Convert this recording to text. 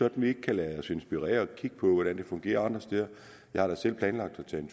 at vi ikke kan lade os inspirere ved at kigge på hvordan det fungerer andre steder og jeg har da selv planlagt at tage en